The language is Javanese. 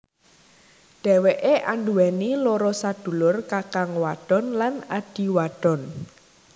Dheweké anduweni loro sadulur kakang wadon lan adhi wadon